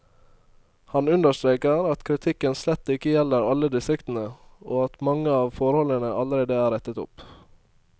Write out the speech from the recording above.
Han understreker at kritikken slett ikke gjelder alle distriktene, og at mange av forholdene allerede er rettet opp.